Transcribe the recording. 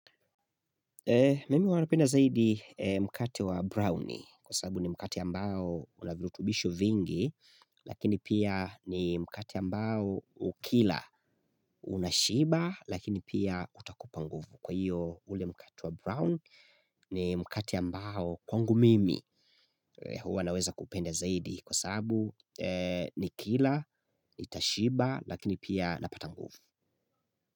Mimi huwa napenda zaidi mkate wa brownie kwa sababu ni mkate ambao unavirutubisho vingi Lakini pia ni mkate ambao ukila unashiba lakini pia utakupa nguvu Kwa hiyo ule mkati wa brown ni mkate ambao kwangu mimi huwa naweza kupenda zaidi Kwa sababu nikila nitashiba lakini pia napata nguvu.